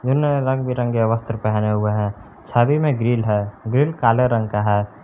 उन्होंने रंग बिरंगे वस्त्र पहने हुए है छवि में ग्रिल है ग्रिल काले रंग का है।